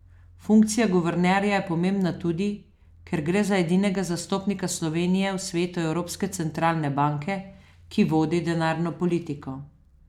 Funkcija guvernerja je pomembna tudi, ker gre za edinega zastopnika Slovenije v svetu evropske centralne banke, ki vodi denarno politiko.